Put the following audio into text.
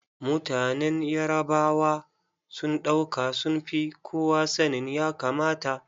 Mutanen Yarabawa sun ɗauka sun fi kowa sanin ya kamata.